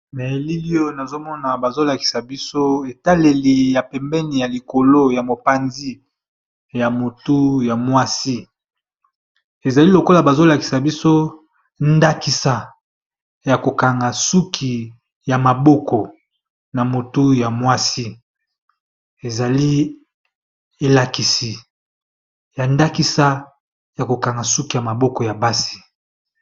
Awa nazomona bazolakisa biso etaleli ya pembeni ya likolo ya mopanzi ya motu ya mwasi ezali lokola bazolakisa biso ndakisayokangasukiyamabokoamotu yamwasiya ndakisa ya kokanga suki ya maboko ya basi.